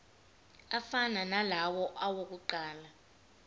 afana nalawo awokuqala